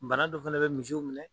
Bana dɔ fɛna bɛ misiw minɛ